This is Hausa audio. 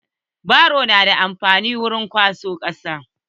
Baro na da amfani wurin kwasan kasa.